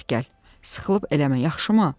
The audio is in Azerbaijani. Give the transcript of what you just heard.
Sıxılıb eləmə, yaxşımı?